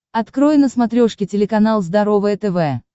открой на смотрешке телеканал здоровое тв